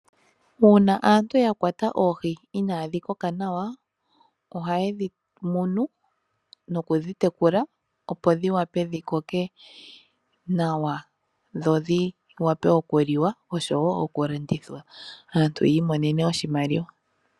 Uuna aantu yakwata oohi inaadhi koka nawa ohaye dhimunu nokudhitekula opo dhiwape dhikoke nawa dhodhi wape oku liwa oshowo oku landithwa aantu yi imonenemo oshimaliwa.